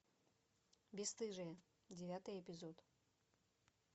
бесстыжие девятый эпизод